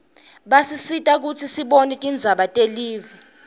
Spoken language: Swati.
basisita kutsi sibone tindzaba telive